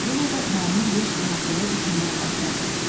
O yenə də məmur Yejka haqqında düşünməyə başladı.